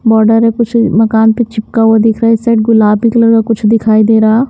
Border है कुछ मकान पे चिपका हुआ दिख रहा है इस साइड गुलाबी कलर का कुछ दिखाई दे रहा है।